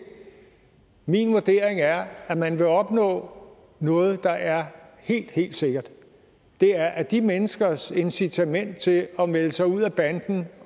min vurdering er at man vil opnå noget der er helt helt sikkert og det er at de menneskers incitament til at melde sig ud af banden